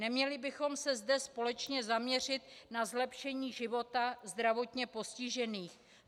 Neměli bychom se zde společně zaměřit na zlepšení života zdravotně postižených?